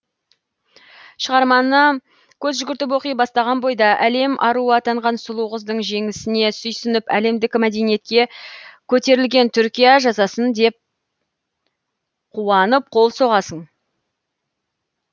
шығарманы көз жүгіртіп оқи бастаған бойда әлем аруы атанған сұлу қыздың жеңісіне сүйсініп әлемдік мәдениетке көтерілген түркия жасасын деп қуанып қол соғасың